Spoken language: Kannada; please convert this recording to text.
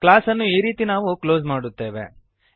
ಕ್ಲಾಸ್ಅನ್ನು ಈ ರೀತಿ ನಾವು ಕ್ಲೋಸ್ ಮಾಡುತ್ತೇವೆ